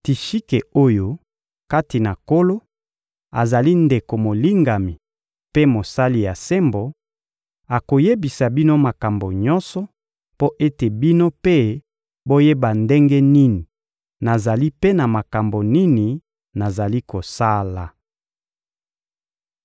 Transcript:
Tishike oyo, kati na Nkolo, azali ndeko molingami mpe mosali ya sembo, akoyebisa bino makambo nyonso, mpo ete bino mpe boyeba ndenge nini nazali mpe makambo nini nazali kosala.